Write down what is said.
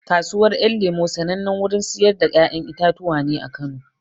Kasuwar ƴan lemo sanannen wurin siyar da ƴaƴan itatuwa ne a Kano